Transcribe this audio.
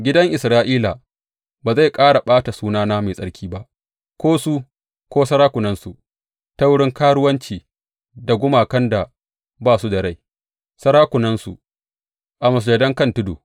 Gidan Isra’ila ba zai ƙara ɓata sunana mai tsarki ba, ko su ko sarakunansu, ta wurin karuwanci da gumakan da ba su da rai, sarakunansu a masujadan kan tudu.